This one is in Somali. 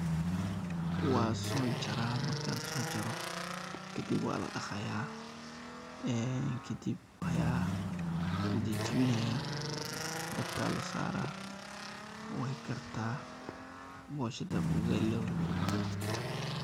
Wasojara, markan sojaro kadib waladaqaya kadib aya lajajabinaya dabka lasara wey karta bosha ama ugali.